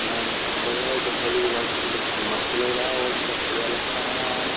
यहां जंगल है जंगली इलाके में कितना मस्त लग रहा है और बहुत बढ़िया लगता है।